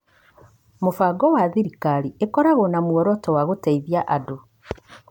mũbango wa thikari ĩkoragwo na muoroto wa gũteithia andũ.